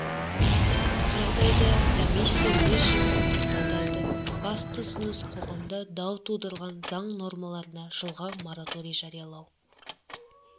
жағдайда комиссия өз жұмысын тоқтатады басты ұсыныс қоғамда дау тудырған заң нормаларына жылға мораторий жариялау